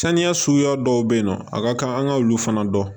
Saniya suguya dɔw be yen nɔ a ka kan an ga olu fana dɔn